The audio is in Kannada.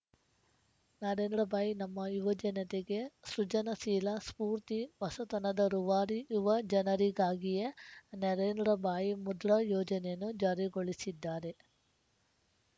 ನರೇಂದ್ರ ಭಾಯಿ ನಮ್ಮ ಯುವಜನತೆಗೆ ಸೃಜನಶೀಲ ಸ್ಫೂರ್ತಿ ಹೊಸತನದ ರೂವಾರಿ ಯುವ ಜನರಿಗಾಗಿಯೇ ನರೇಂದ್ರ ಭಾಯಿ ಮುದ್ರಾ ಯೋಜನೆಯನ್ನು ಜಾರಿಗೊಳಿಸಿದ್ದಾರೆ